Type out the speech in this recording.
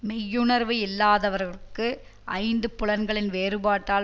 மெய்யுணர்வு இல்லாதவர்க்கு ஐந்து புலன்களின் வேறுபாட்டால்